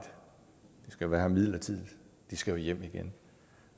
de skal være her midlertidigt de skal jo hjem igen